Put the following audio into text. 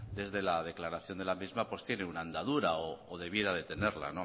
desde la declaración de la misma pues tiene una andadura o debiera de tenerla